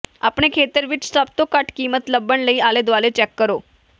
ਆਪਣੇ ਖੇਤਰ ਵਿੱਚ ਸਭ ਤੋਂ ਘੱਟ ਕੀਮਤ ਲੱਭਣ ਲਈ ਆਲੇ ਦੁਆਲੇ ਚੈੱਕ ਕਰੋ